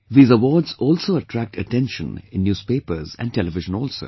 These awards also attract attention innewspapers and television also